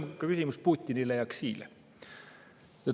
See on ka küsimus Putinile ja Xile.